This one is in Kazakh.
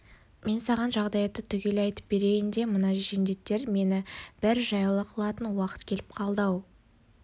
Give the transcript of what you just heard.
мен саған жағдаятты түгел айтып берейін де мына жендеттер мені бір жайлы қылатын уақыт келіп қалды-ау